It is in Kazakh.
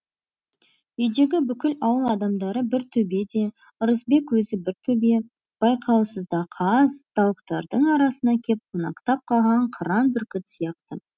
үйдегі бүкіл ауыл адамдары бір төбе де ырысбек өзі бір төбе байқаусызда қаз тауықтардың арасына кеп қонақтап қалған қыран бүркіт сияқты